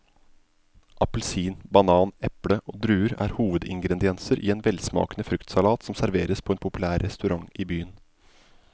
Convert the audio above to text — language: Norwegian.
Appelsin, banan, eple og druer er hovedingredienser i en velsmakende fruktsalat som serveres på en populær restaurant i byen.